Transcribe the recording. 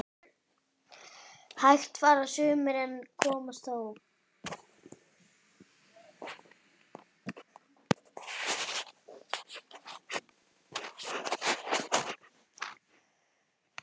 Hægt fara sumir en komast þó